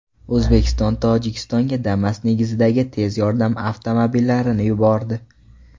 O‘zbekiston Tojikistonga Damas negizidagi tez yordam avtomobillarini yubordi.